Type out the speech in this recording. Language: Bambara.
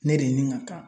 Ne de ni n ka kan